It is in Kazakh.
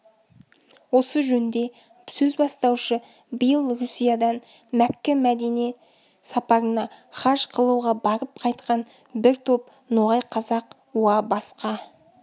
осы жөнде сөз бастаушы биыл русиядан мәккә-мәдине сапарына хаж қылуға барып қайтқан бір топ ноғай қазақ уа басқа